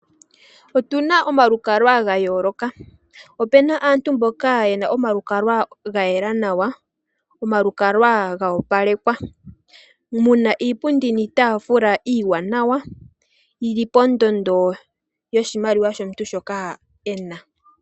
Otuna omalukalwa ga yooloka. Ope na aantu mpoka ye na omalukalwa ga yela nawa omalukalwa ga opalekwa. Mu na iipundi niitafula iwanawa yili pondondo yoshimaliwa shomuntu shoka e na.